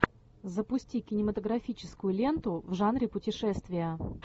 запусти кинематографическую ленту в жанре путешествия